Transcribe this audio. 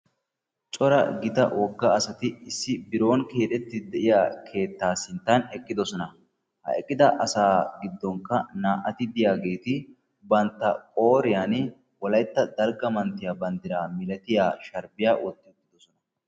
Cora gida wogga asati issi biron keexxetde de'iya keetta sinttan eqqidoosona; ha eqqida asa giddonkka na"ati diyaageti wolaytta dalgga manttiyaa banddiraa malatiyaa sharbbiya bantta wotti uttidoosona.